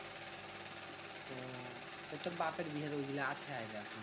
তোর বাপের বিয়ে